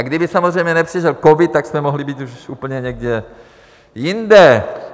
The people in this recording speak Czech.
A kdyby samozřejmě nepřišel covid, tak jsme mohli být už úplně někde jinde.